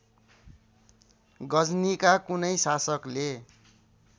गजनीका कुनै शासकले